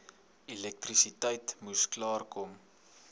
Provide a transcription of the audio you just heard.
elektrisiteit moes klaarkom